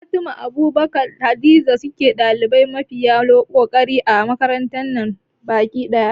Fatima, Abubakar da Hadiza sune ɗalibai mafiya kokari a makarantar nan baki ɗaya